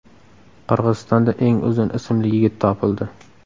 Qirg‘izistonda eng uzun ismli yigit topildi.